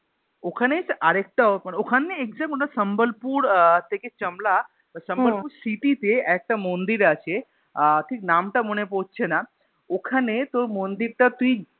ওখানে জানিস তো আর একটা মানে ওখানে সাম্বলপুর আহ থেকে চাম্বালা হম সাম্বলপুর City তে একটা মন্দির আছে আহ ঠিক নাম টা মনে পড়ছে না, ওখানে তোর মন্দির টা তুই